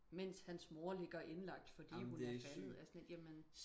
mens hans mor ligger indlagt fordi hun er faldet altså jeg er sådan lidt jamen